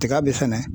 Tiga bɛ fɛnɛ